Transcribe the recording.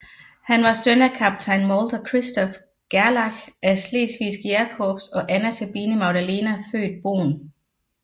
Han var søn af kaptajn Molter Christoph Gerlach af Slesvigske Jægerkorps og Anna Sabine Magdalena født Boehn